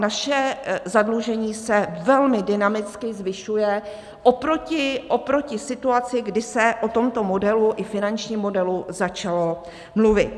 Naše zadlužení se velmi dynamicky zvyšuje oproti situaci, kdy se o tomto modelu, i finančním modelu, začalo mluvit.